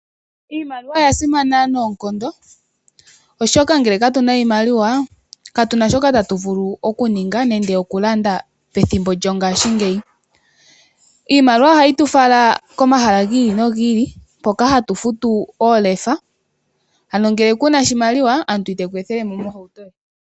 Iimaliwa oya simana noonkondo oshoka ngele katuna iimaliwa katuna shoka tatu vulu oku ninga nende oku landa pethimbo lyongaashingeyi. Iimaliwa ohayi tu fala komahala giili nogiili mpoka hatu futu oolefa. Ano ngele kuna oshimaliwa omuntu iteku ethele mo ohauto ye.